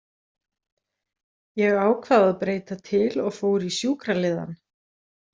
Ég ákvað að breyta til og fór í sjúkraliðann.